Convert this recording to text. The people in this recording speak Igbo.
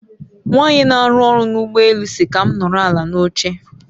Nwanyi n'aru oru n'ugbo elu si ka m noro ala n'oche